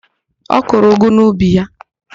Ọ kụrụ ụgụ n'ubi ya?